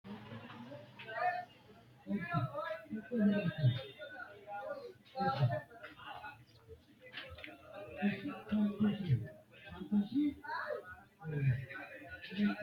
tini maa xawissanno misileeti ? mulese noori maati ? hiissinannite ise ? tini kultannori mattiya? mannu kiiro me'ette? mamiicho noo? hiitto ikke nooreetti?